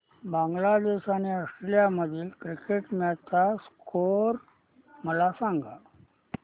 बांगलादेश आणि ऑस्ट्रेलिया मधील cricket match चा स्कोअर मला सांगा